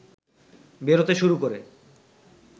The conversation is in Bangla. বেরোতে শুরু করে